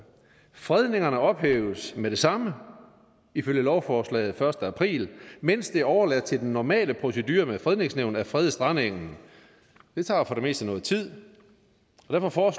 fredningerne ophæves med det samme ifølge lovforslaget første april mens det er overladt til den normale procedure med fredningsnævn at frede strandengen det tager for det meste noget tid og derfor